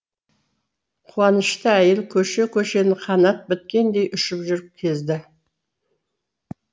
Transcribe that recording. қуанышты әйел көше көшені қанат біткендей ұшып жүріп кезді